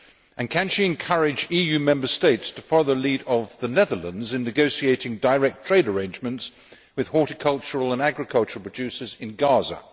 And, can she encourage EU Member States to follow the lead of the Netherlands in negotiating direct trade arrangements with horticultural and agricultural producers in Gaza?